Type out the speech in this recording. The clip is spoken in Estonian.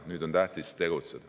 Nüüd on tähtis tegutseda.